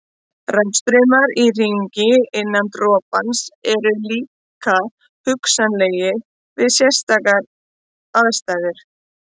Rafstraumar í hringi innan dropans eru líka hugsanlegir við sérstakar aðstæður.